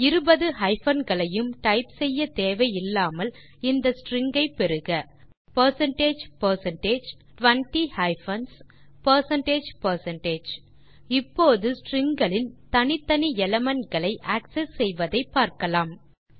இருபது ஹைபன் களையும் டைப் செய்ய தேவையில்லாமல் இந்த ஸ்ட்ரிங் ஐ பெறுக percentage percentage 20 hyphens percentage percentage இப்போது ஸ்ட்ரிங் களின் தனித்தனி எலிமெண்ட் களை ஆக்செஸ் செய்வதை பார்க்கலாம்